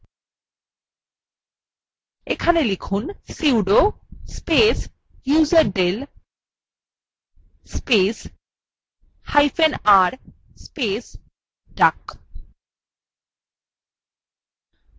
এখানে লিখুন sudo space userdel spacehyphen r space duck